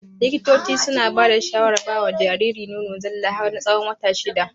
Likitocin suna bada shawarar bawa Jariri nono zalla har na tsawon wata shida